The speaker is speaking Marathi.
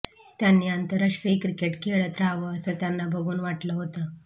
त्यांनी आंतरराष्ट्रीय क्रिकेट खेळत राहावं असं त्यांना बघून वाटलं होतं